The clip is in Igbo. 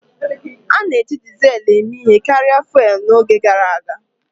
A na-eji Dizelu eme ihe karịa fụ́élú n'oge gara aga